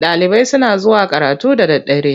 Ɗalibai suna zuwa karatu da daddare.